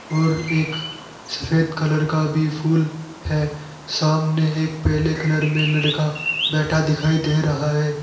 और एक सफेद कलर का भी फूल है सामने एक पीले कलर में लड़का बैठा दिखाई दे रहा है।